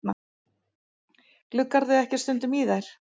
Gluggarðu ekki stundum í þær?